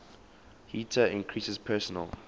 heater increases personal